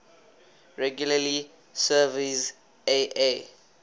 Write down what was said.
regularly surveys aa